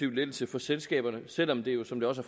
lettelse for selskaberne selv om det jo som det også